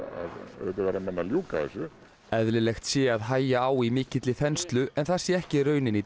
auðvitað verða menn að ljúka þessu eðlilegt sé að hægja á í mikilli þenslu en það sé ekki raunin í dag